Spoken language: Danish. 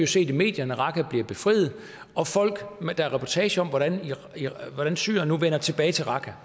set i medierne at raqqa bliver befriet og der er reportager om hvordan syrere nu vender tilbage til raqqa